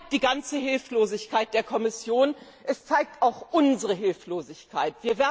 Das zeigt die ganze Hilflosigkeit der Kommission, es zeigt auch unsere Hilflosigkeit.